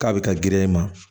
K'a bɛ ka girin ma